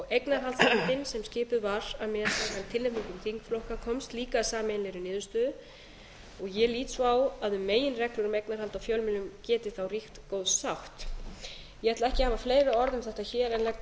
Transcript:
eignarhaldsnefndin sem skipuð var að tilnefningu þingflokka komst líka að sameiginlegri niðurstöðu og ég lít svo á að um meginreglu um eignarhald á fjölmiðlum geti þá ríkt góð sátt ég ætla ekki að hafa fleiri orð um þetta hér en